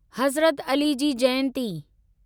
Hazrat Ali ji Jayanti